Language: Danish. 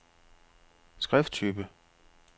skrifttype